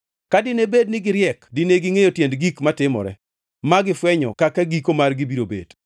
Ka dine bed ni giriek dine gingʼeyo tiend gik matimore ma gifwenyo kaka giko margi biro bet.